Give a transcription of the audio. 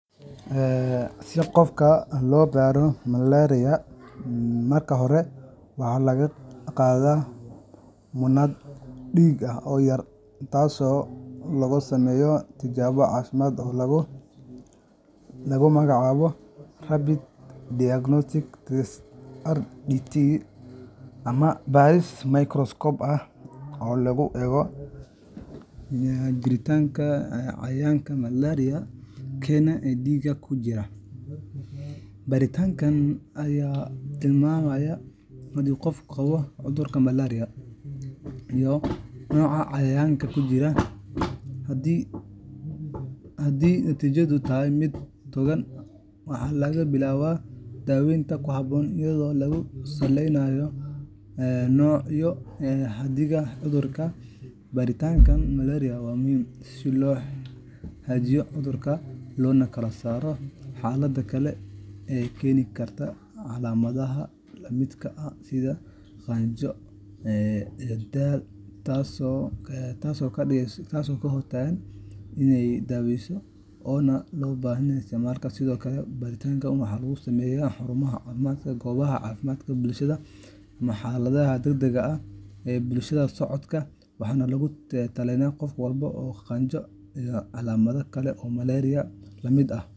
Si qof loo baara malaria, marka hore waxaa laga qaadaa muunad dhiig ah oo yar, taas oo lagu sameeyo tijaabo caafimaad oo lagu magacaabo Rapid Diagnostic Test RDT ama baaris microscope ah oo lagu eego jiritaanka cayayaanka malaria keena ee dhiigga ku jira. Baaritaankan ayaa tilmaamaya haddii qofku qabo cudurka malaria iyo nooca cayayaanka ku jira. Haddii natiijadu tahay mid togan, waxaa la billaabaa daaweynta ku habboon iyadoo lagu saleynayo nooca iyo xaddiga cudurka. Baaritaanka malaria waa muhiim si loo xaqiijiyo cudurka, loona kala saaro xaaladaha kale ee keeni kara calaamadaha la midka ah sida qandho iyo daal, taasoo ka hortagaysa in daawooyinka aan loo baahnayn la isticmaalo. Sidoo kale, baaritaanka waxaa lagu sameeyaa xarumaha caafimaadka, goobaha caafimaadka bulshada, ama xaaladaha degdegga ah ee bukaan socodka, waxaana lagula talinayaa in qof walba oo qandho iyo calaamado kale oo malaria la mid ah .